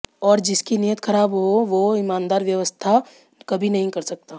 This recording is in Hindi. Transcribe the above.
और जिसकी नीयत खराब हो वो ईमानदार व्यवस्था कभी नहीं कर सकता